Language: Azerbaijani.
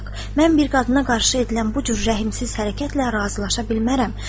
Mən bir qadına qarşı edilən bu cür rəhimsiz hərəkətlə razılaşa bilmərəm.